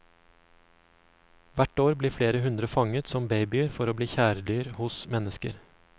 Hvert år blir flere hundre fanget som babyer for å bli kjæledyr hos mennesker.